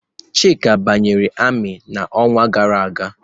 Chika banyere ami n'ọnwa gara aga.